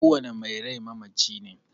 Ko wani mai rai mamaci ne